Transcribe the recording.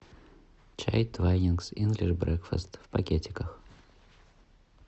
чай твайнингс инглиш брекфаст в пакетиках